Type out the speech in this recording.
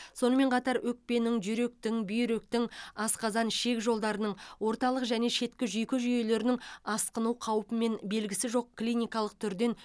сонымен қатар өкпенің жүректің бүйректің асқазан ішек жолдарының орталық және шеткі жүйке жүйелерінің асқыну қаупімен белгісі жоқ клиникалық түрден